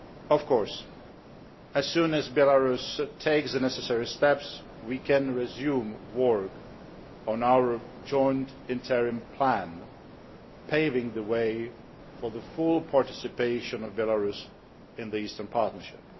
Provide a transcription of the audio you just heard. Of course, as soon as Belarus takes the necessary steps, we can resume work on our joint interim plan, paving the way for the full participation of Belarus in the Eastern Partnership.